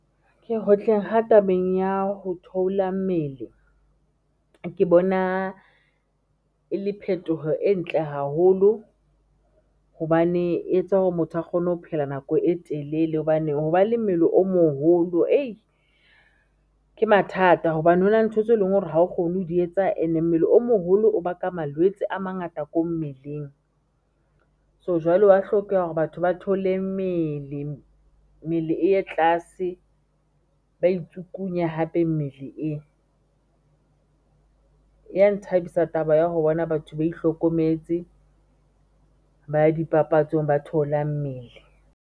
Ke hotleng ha tabeng ya ho theola mmele ke bona e le phetoho e ntle haholo hobane e etsa hore motho a kgone ho phela nako e telele hobane hoba le mmele o moholo ke mathata hobane ho na le ntho tso leng hore ha o kgone ho di etsa and-e mmele o moholo o baka malwetse a mangata ko mmeleng. So jwale wa hlokeha hore batho ba thoole mmele, mmele e ye tlase ba itsukunye hape mmele e, ya nthabisa taba ya ho bona batho ba itlhokometse, ba ya dipapatsong ba theola mmele.